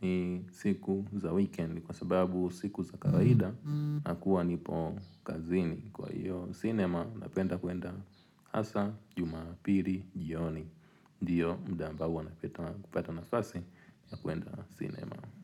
ni siku za weekend kwa sababu siku za kawaifa na kuwa nipo kazini. Kwa hiyo cinema napenda kwenda hasa jumapili jioni ndio mda ambao huwa napata na fasi ya kwenda cinema.